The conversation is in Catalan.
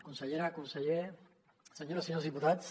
consellera conseller senyores i senyors diputats